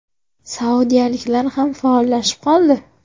Saudiyaliklar ham faollashib qoldi.